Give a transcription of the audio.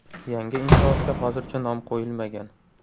Yangi inshootga hozircha nom qo‘yilmagan.